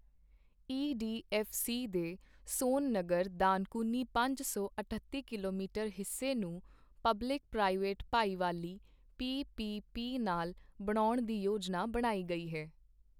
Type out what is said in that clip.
ਈ D F C ਦੇ ਸੋਨਨਗਰ ਦਾਨਕੁਨੀ ਪੰਜ ਸੌ ਅੱਠਤੀ ਕਿਲੋਮੀਟਰ ਹਿੱਸੇ ਨੂੰ ਪਬਲਿਕ ਪ੍ਰਾਈਵੇਟ ਭਾਈਵਾਲੀ ਪੀ ਪੀ ਪੀ ਨਾਲ ਬਣਾਉਣ ਦੀ ਯੋਜਨਾ ਬਣਾਈ ਗਈ ਹੈ।